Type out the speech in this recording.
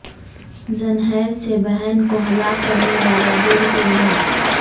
زنحیر سے بہن کو ہلاک کرنیوالا جیل سے رہا